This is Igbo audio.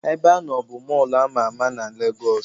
Ebeanọ bụ Mọlụ ama ama na Legos